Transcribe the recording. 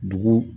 Dugu